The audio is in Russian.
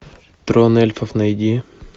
трон эльфов найди